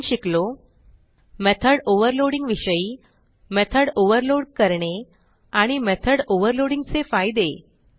आपण शिकलो method overloading विषयी मेथॉड ओव्हरलोड करणे आणि मेथॉड ओव्हरलोडिंग चे फायदे